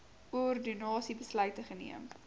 ordonnansie besluit geneem